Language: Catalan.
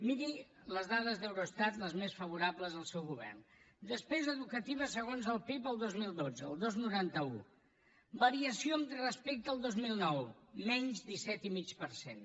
miri les dades d’eurostat les més favorables al seu govern despesa educativa segons el pib el dos mil dotze el dos coma noranta un variació respecte al dos mil nou menys disset i mig per cent